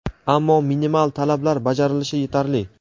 ammo minimal talablar bajarilishi yetarli.